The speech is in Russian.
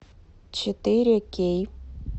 четыре кей